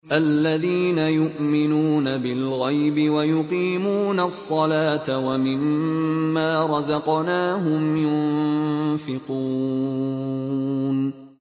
الَّذِينَ يُؤْمِنُونَ بِالْغَيْبِ وَيُقِيمُونَ الصَّلَاةَ وَمِمَّا رَزَقْنَاهُمْ يُنفِقُونَ